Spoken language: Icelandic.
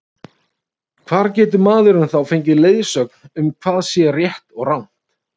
Hvar getur maðurinn þá fengið leiðsögn um hvað sé rétt og rangt?